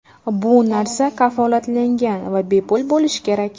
Bu narsa kafolatlangan va bepul bo‘lishi kerak.